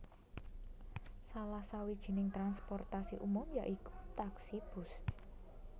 Salah sawijining transportasi umum ya iku taksi bus